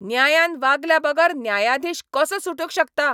न्यायान वागल्याबगर न्यायाधीश कसो सुटूंक शकता?